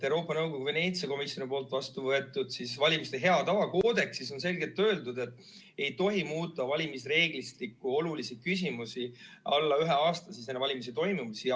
Euroopa Nõukogu Veneetsia komisjoni vastu võetud valimiste hea tava koodeksis on selgelt öeldud, et ei tohi muuta valimisreeglistiku olulisi küsimusi, kui valimisteni on jäänud alla ühe aasta.